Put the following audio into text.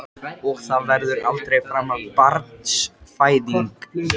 Og það verður aldrei framar barnsfæðing.